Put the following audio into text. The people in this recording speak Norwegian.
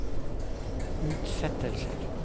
utsettelser